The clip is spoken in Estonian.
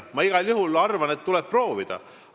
Ma igal juhul arvan, et tuleb proovida siin lahendust leida.